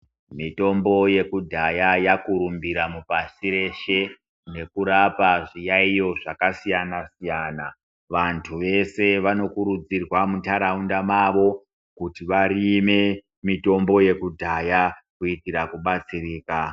Mitombo yekudhaya yakurumbira mupasi reshe nekurapa zviyaiyo zvakasiyana-siyana. Vantu vese vanokurudzirwa muntaraunda mavo kuti varime mitombo yekudhaya kuitira kubatsirika.